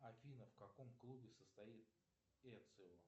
афина в каком клубе состоит эцио